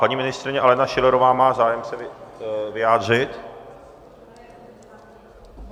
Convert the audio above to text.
Paní ministryně Alena Schillerová má zájem se vyjádřit?